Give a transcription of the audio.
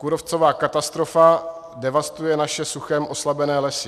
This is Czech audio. Kůrovcová katastrofa devastuje naše suchem oslabené lesy.